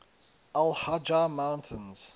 al hajar mountains